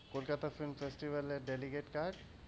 Kolkata film festival এর delicate card